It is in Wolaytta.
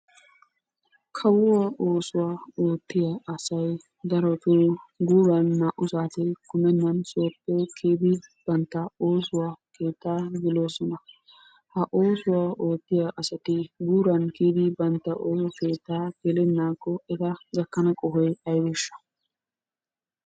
Kawuwaa oosuwaa oottiya asay darotoo guuran naa'u saate kumennan bantta sooppe kiyidi bantta oosuwaa keettaa geloosona. Ha oosuwa oottiya asati guuran kiyidi bantta oosuwaa gelennaakko eta gakkana qohoy aybeeshsha?